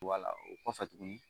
Wuala, o kɔfɛ tugunni.